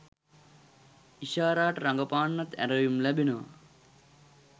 ඉෂාරාට රඟපාන්නත් ඇරයුම් ලැබෙනවා